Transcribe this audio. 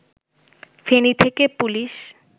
ফেনী থেকে পুলিশ